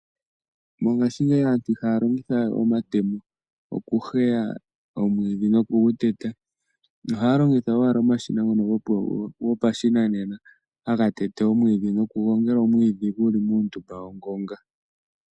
Mongashingeyi aantu ihaya longitha we omatemo okuheya omwiidhi no kuguteta, ohaya longitha owala omashina ngono gopashinanena ngoka haga te te no kugongela omwiidhi guli muundumba wongonga.